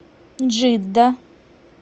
джидда